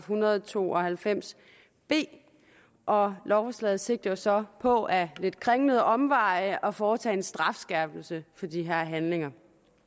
hundrede og to og halvfems b og lovforslaget sigter jo så på ad lidt kringlede omveje at foretage en strafskærpelse for de her handlinger